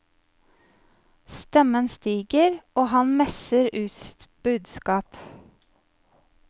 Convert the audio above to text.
Stemmen stiger, og han messer ut sitt budskap.